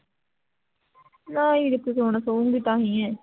ਨਾ ਇਹਨੇ ਕਿਥੇ ਸੋਨਾ ਸੋਊਗੀ ਤਾਂ ਹੀ ਹੈ